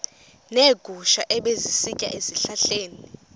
neegusha ebezisitya ezihlahleni